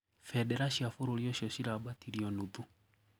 Bendera cia bũrũri ũcio ciraambatĩirio nuthu.